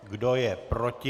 Kdo je proti?